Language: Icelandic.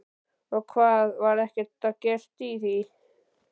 Og hvað, var ekkert gert í því?